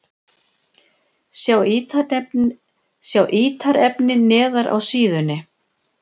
Sjá ítarefni neðar á síðunni